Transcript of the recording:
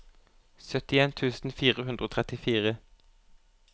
syttien tusen fire hundre og trettifire